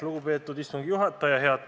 Lugupeetud istungi juhataja!